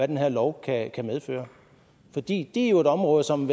den her lov kan medføre for det er jo et område som